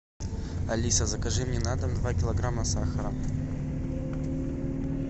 алиса закажи мне на дом два килограмма сахара